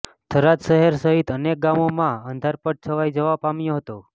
થરાદ શહેર સહિત અનેક ગામોમાં અંધારપટ છવાઇ જવા પામ્યો હતો